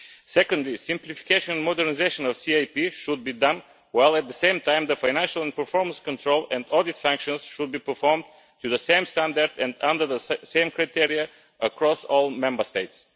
Secondly, simplification and modernisation of the CAP should be done while at the same time, the financial and performance control and audit functions should be performed to the same standard and under the same criteria across all Member States.